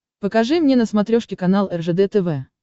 покажи мне на смотрешке канал ржд тв